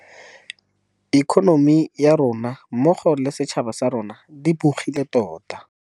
Ikonomi ya rona mmogo le setšhaba sa rona di bogile tota.